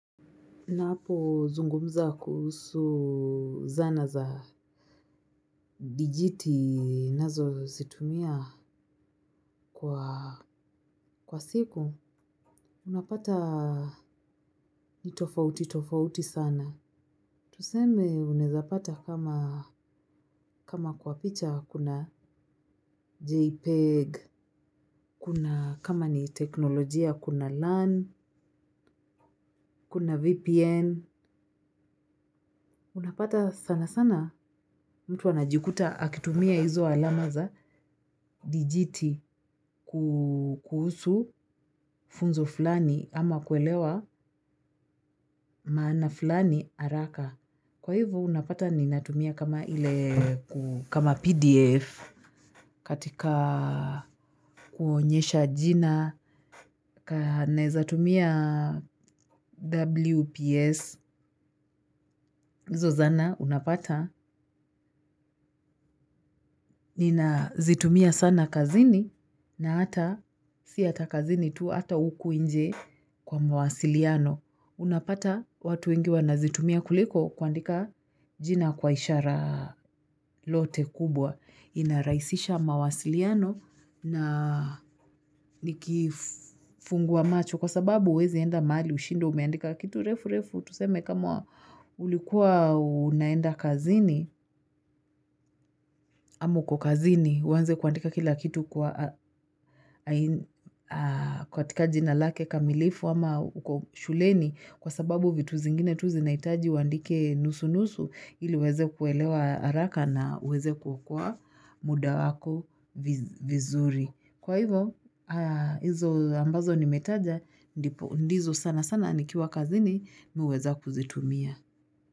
Napozungumza kuhusu zana za vijiti nazozitumia kwa siku unapata nitofauti tofauti sana. Tuseme unaezapata kama kwa picha kuna JPEG, kuna kama ni teknolojia kuna LAN, kuna VPN. Unapata sana sana mtu anajikuta akitumia hizo alama za digiti kuhusu funzo fulani ama kuelewa maana fulani haraka. Kwa hivo unapata ninatumia kama PDF katika kuonyesha jina, naezatumia WPS. hizo zana unapata, nina zitumia sana kazini na ata, si ata kazini tu, hata huku inje kwa mawasiliano. Unapata watu wengi wanazitumia kuliko kuandika jina kwa ishara lote kubwa. Inarahisisha mawasiliano na nikifungua macho kwa sababu huwezi enda mahali ushindwe umeandika kitu refu refu. Tuseme kama ulikuwa unaenda kazini, ama uko kazini, uwanze kuandika kila kitu kwa katika jina lake kamilifu ama uko shuleni kwa sababu vitu zingine tu zinahitaji uandike nusu-nusu ili uweze kuelewa haraka na uweze kukua muda wako vizuri. Kwa hivo, hizo ambazo nimetaja ndizo sana sana nikiwa kazini mmi huweza kuzitumia.